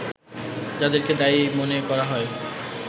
যাদেরকে দায়ী মনে করা হয়